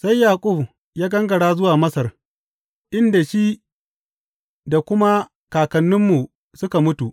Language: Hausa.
Sai Yaƙub ya gangara zuwa Masar, inda shi da kuma kakanninmu suka mutu.